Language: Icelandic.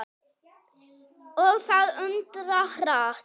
Og það undra hratt.